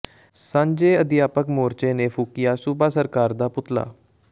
ਸਾਂਝੇ ਅਧਿਆਪਕ ਮੋਰਚੇ ਨੇ ਫੂਕਿਆ ਸੂਬਾ ਸਰਕਾਰ ਦਾ ਪੁਤਲਾ